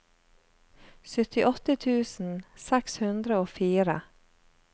syttiåtte tusen seks hundre og fire